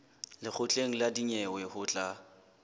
lekgotleng la dinyewe ho tla